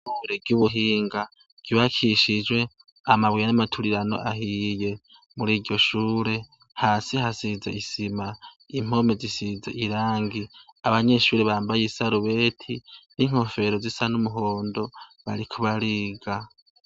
ishure ry'ubuhinga ryubakishijwe amabuye n'amaturirano ahiye muri iryo shure hasi hasize isima impome zisize irangi abanyeshure bambaye isarubete n'inkofero zisa n'umuhondo bariko bariga.